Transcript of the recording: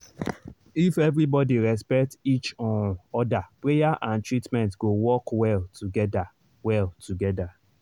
if everybody respect each um other prayer and treatment go work well together. well together.